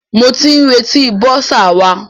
Mo ti ń retí bọ́sà wa.